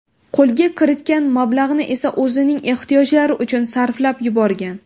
Qo‘lga kiritgan mablag‘ni esa o‘zining ehtiyojlari uchun sarflab yuborgan.